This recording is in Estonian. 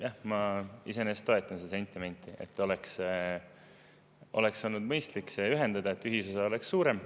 Jah, ma iseenesest toetan seda sentimenti, et oleks olnud mõistlik need ühendada, et ühisosa oleks suurem.